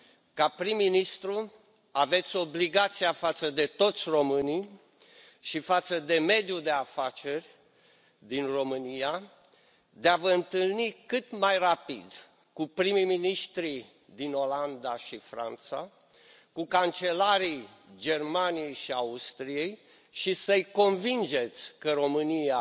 Ca prim ministru, aveți obligația față de toți românii și față de mediul de afaceri din România de a vă întâlni cât mai rapid cu prim miniștrii din Olanda și Franța, cu cancelarii Germaniei și Austriei și să i convingeți că România